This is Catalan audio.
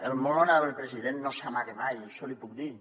el molt honorable president no s’amaga mai això l’hi puc dir